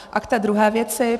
A k té druhé věci.